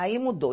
Aí mudou.